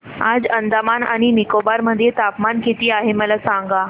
आज अंदमान आणि निकोबार मध्ये तापमान किती आहे मला सांगा